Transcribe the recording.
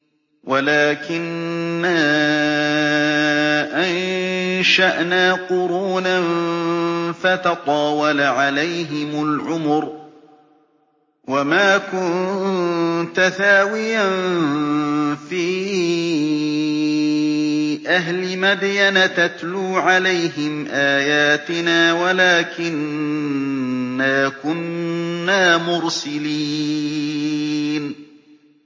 وَلَٰكِنَّا أَنشَأْنَا قُرُونًا فَتَطَاوَلَ عَلَيْهِمُ الْعُمُرُ ۚ وَمَا كُنتَ ثَاوِيًا فِي أَهْلِ مَدْيَنَ تَتْلُو عَلَيْهِمْ آيَاتِنَا وَلَٰكِنَّا كُنَّا مُرْسِلِينَ